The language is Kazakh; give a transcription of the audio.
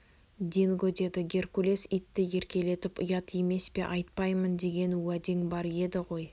динго деді геркулес итті еркелетіп ұят емес пе айтпаймын деген уәдең бар еді ғой